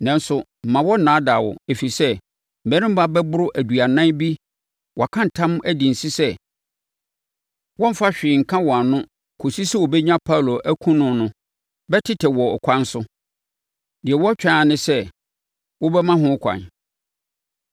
Nanso, mma wɔnnaadaa wo. Ɛfiri sɛ, mmarima bɛboro aduanan bi a wɔaka ntam, adi nse sɛ wɔremfa hwee nka wɔn ano kɔsi sɛ wɔbɛnya Paulo akum no no bɛtetɛ no wɔ ɛkwan so. Deɛ wɔretwɛn ara ne sɛ, wobɛma ho ɛkwan.”